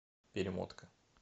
перемотка